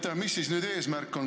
Mis see eesmärk nüüd on?